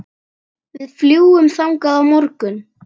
Við fljúgum þangað á morgun.